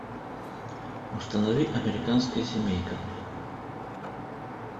установи американская семейка